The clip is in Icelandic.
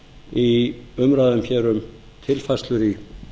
í umræðum hér um tilfærslur í